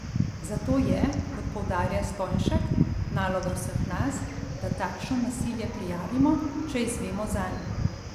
Zato je, kot poudarja Stojnšek, naloga vseh nas, da takšno nasilje prijavimo, če izvemo zanj.